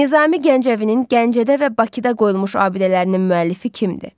Nizami Gəncəvinin Gəncədə və Bakıda qoyulmuş abidələrinin müəllifi kimdir?